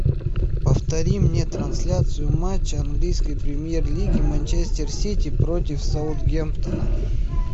повтори мне трансляцию матча английской премьер лиги манчестер сити против саутгемптона